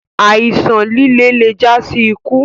Àìsán lìlẹ̀ lè jà sí ìkú.